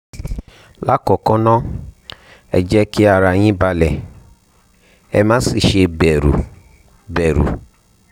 lákọ̀ọ́kọ́ ná ẹ jẹ́ kí ara yín balẹ̀ ẹ má sì ṣe bẹ̀rù bẹ̀rù